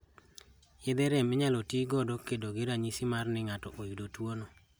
Yedhe rem inyalo tii godo kedo gi ranyisi mar ni ng'ato oyudo tuo no